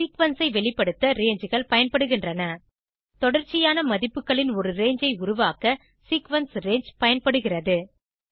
ஒரு சீக்வென்ஸ் ஐ வெளிப்படுத்த Rangeகள் பயன்படுகின்றன தொடர்ச்சியான மதிப்புகளின் ஒரு ரங்கே ஐ உருவாக்க சீக்வென்ஸ் ரங்கே பயன்படுகிறது